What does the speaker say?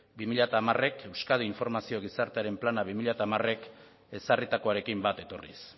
bi mila hamarek euskadi informazio gizartearen plana bi mila hamarek ezarritakoarekin bat etorriz